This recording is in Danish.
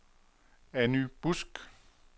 Anny Busk